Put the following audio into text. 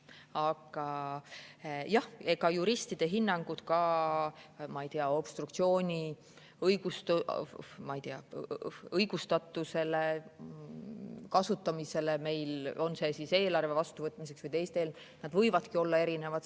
Aga jah, juristide hinnangud ka, ma ei tea, obstruktsiooni, ma ei tea, õigustatusele, selle kasutamisele kas siis eelarve vastuvõtmiseks või teiste, võivadki olla erinevad.